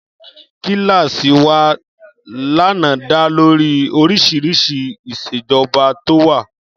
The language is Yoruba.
Kíláàsì wa lánàá dá lórí oríṣiríṣi ìṣèjọba tó wà